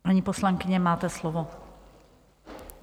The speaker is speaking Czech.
Paní poslankyně, máte slovo.